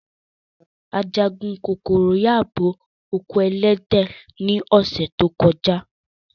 Ajagun kokoro yabo oko elede wa ni ose to koja.